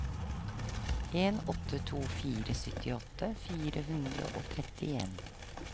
en åtte to fire syttiåtte fire hundre og trettien